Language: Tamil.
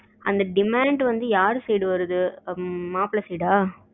அந்த demand வந்து யாரு side வருது மாப்பிளை side அஹ